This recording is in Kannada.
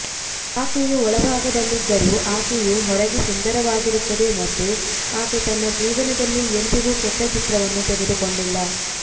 ಆಕೆಯು ಒಳಭಾಗದಲ್ಲಿದ್ದರೂ ಆಕೆಯು ಹೊರಗೆ ಸುಂದರವಾಗಿರುತ್ತದೆ ಮತ್ತು ಆಕೆ ತನ್ನ ಜೀವನದಲ್ಲಿ ಎಂದಿಗೂ ಕೆಟ್ಟ ಚಿತ್ರವನ್ನು ತೆಗೆದುಕೊಂಡಿಲ್ಲ